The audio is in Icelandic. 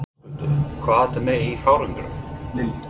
Höskuldur: Hvað ertu með í farangrinum?